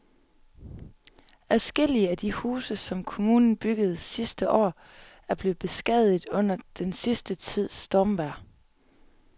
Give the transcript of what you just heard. Adskillige af de huse, som kommunen byggede sidste år, er blevet beskadiget under den sidste tids stormvejr.